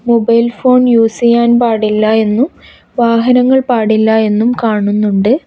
Mobile phone use ചെയ്യാൻ പാടില്ല എന്നും വാഹനങ്ങൾ പാടില്ല എന്നും കാണുന്നുണ്ട്.